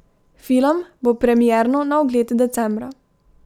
Film bo premierno na ogled decembra.